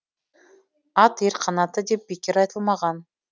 ат ер қанаты деп бекер айтылмаған